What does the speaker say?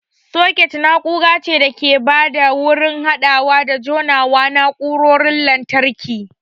Soket na'ura ce da ke ba da wurin haɗawa da jona na'urarorin lantarki.